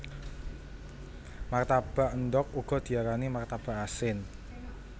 Martabak endhog uga diarani martabak asin